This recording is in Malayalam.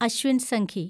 അശ്വിൻ സംഘി